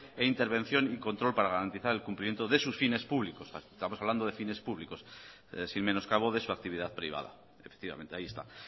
e intervención y control para garantizar el cumplimiento de sus fines públicos estamos hablando de fines públicos sin menoscabo de su actividad privada efectivamente ahí está